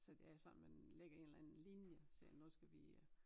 Så det er sådan man lægger en eller anden linje siger nu skal vi øh